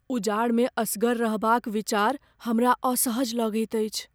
उजाड़ मे असगर रहबाक विचार हमरा असहज लगैत अछि।